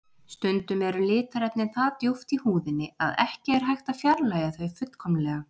Stundum eru litarefnin það djúpt í húðinni að ekki er hægt að fjarlægja þau fullkomlega.